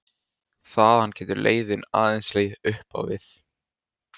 Þaðan getur leiðin aðeins legið upp á við.